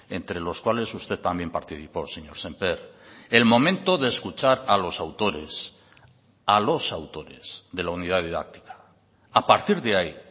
entre los cuales usted también participó señor sémper el momento de escuchar a los autores a los autores de la unidad didáctica a partir de ahí